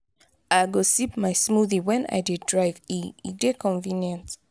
i go sip my smoothie wen i dey drive e e dey convenient.